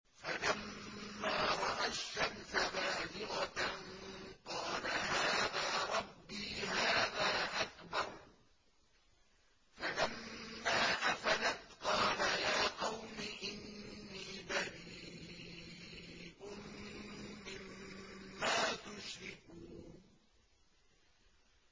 فَلَمَّا رَأَى الشَّمْسَ بَازِغَةً قَالَ هَٰذَا رَبِّي هَٰذَا أَكْبَرُ ۖ فَلَمَّا أَفَلَتْ قَالَ يَا قَوْمِ إِنِّي بَرِيءٌ مِّمَّا تُشْرِكُونَ